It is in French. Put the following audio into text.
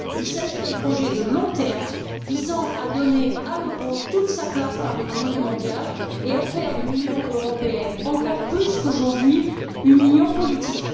Il s'agit d'un projet de long terme visant à donner à l'euro toute sa place parmi les monnaies mondiales et à faire de l'Union européenne, encore plus qu'aujourd'hui, une union politique.